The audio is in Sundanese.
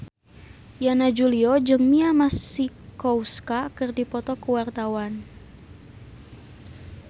Yana Julio jeung Mia Masikowska keur dipoto ku wartawan